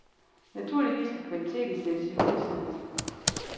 Naturligvis skal kvaliteten sættes i højsædet.